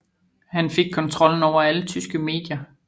Han fik kontrollen over alle tyske medier